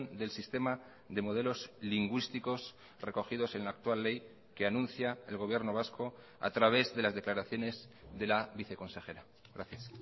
del sistema de modelos lingüísticos recogidos en la actual ley que anuncia el gobierno vasco a través de las declaraciones de la viceconsejera gracias